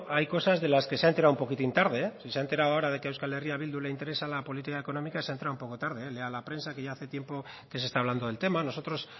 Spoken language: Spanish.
hay cosas de las que se ha enterado un poquitín tarde si se ha enterado ahora de que a euskal herria bildu le interesa la política económica se ha enterado un poco tarde eh lea la prensa que ya hace tiempo que se está hablando del tema nosotros